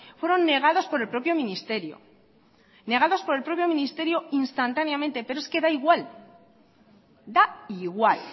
fueron negados por el propio ministerio negados por el propio ministerio instantáneamente pero es que da igual da igual